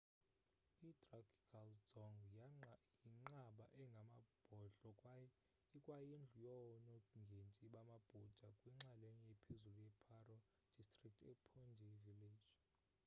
idrukgyal dzong yinqaba engamabhodlo kwaye ikwayindlu yoonongendi bamabhuda kwinxalenye ephezulu ye-paro district ephondey village